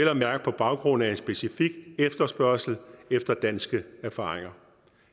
at mærke på baggrund af en specifik efterspørgsel efter danske erfaringer